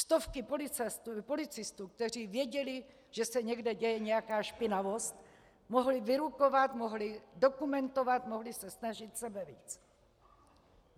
Stovky policistů, kteří věděli, že se někde děje nějaká špinavost, mohly vyrukovat, mohly dokumentovat, mohly se snažit sebevíc.